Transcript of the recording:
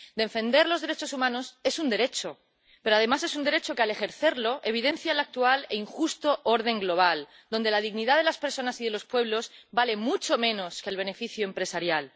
Defender los derechos humanos es un derecho, pero además es un derecho que al ejercerlo evidencia el actual e injusto orden global en el que la dignidad de las personas y de los pueblos vale mucho menos que el beneficio empresarial.